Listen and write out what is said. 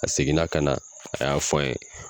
A seginna ka na a y'a fɔ an ye